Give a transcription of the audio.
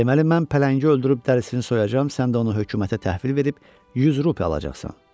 "Deməli mən pələngi öldürüb dərisini soyacam, sən də onu hökumətə təhvil verib yüz rupi alacaqsan.